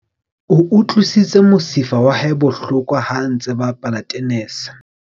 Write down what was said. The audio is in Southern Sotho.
O utlwisitse mosifa wa hae bohloko ha a bapala tenese.